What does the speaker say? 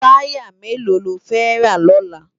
Tàyá méló ló fè rá lòlá?